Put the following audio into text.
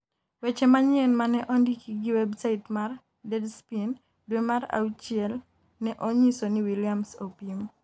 weche manyien mane ondiki gi website mar Deadspin dwe mar auchie ne onyiso ni Williams opim